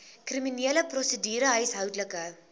kriminele prosedure huishoudelike